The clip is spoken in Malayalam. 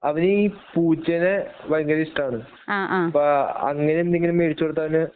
അവനീ പൂച്ചേനെ ഭയങ്കര ഇഷ്ടമാണ് അപ്പോ അങ്ങനെ എന്തെങ്കിലും മേടിച്ചു കൊടുത്താല്